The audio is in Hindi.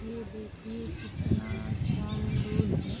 ये देखिये कितना अच्छा अमरुद है।